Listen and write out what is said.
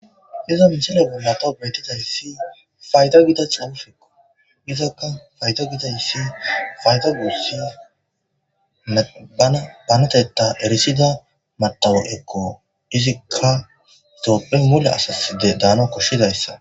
izo michilo bollato betida issi fayto gida xaufekqo gizakka fayto gida issi fayto guussia e bana baneteta erisida matawo ekko izikka tophiyan mule asaside daano koshshidayssa